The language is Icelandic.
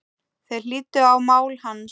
Þeir hlýddu á mál hans.